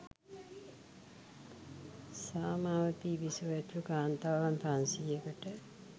සාමාවතී බිසව ඇතුළු කාන්තාවන් පන්සියයකට